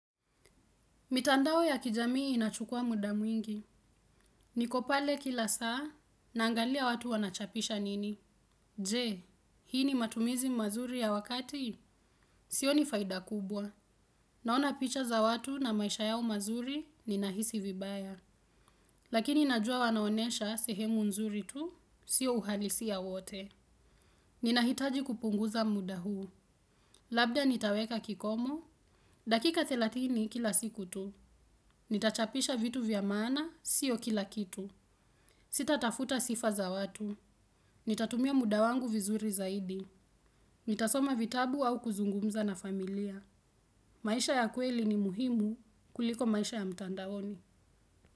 Mitandao ya kijamii inachukua muda mwingi. Niko pale kila saa naangalia watu wanachapisha nini. Je, hii ni matumizi mazuri ya wakati? Sioni faida kubwa. Naona picha za watu na maisha yao mazuri ninahisi vibaya. Lakini najua wanaonyesha sehemu nzuri tu sio uhalisi ya wote. Nina hitaji kupunguza muda huu. Labda nitaweka kikomo dakika thelathini kila siku tu. Nitachapisha vitu vya maana siyo kila kitu. Sitatafuta sifa za watu. Nitatumia muda wangu vizuri zaidi. Nitasoma vitabu au kuzungumza na familia. Maisha ya kweli ni muhimu kuliko maisha ya mtandaoni.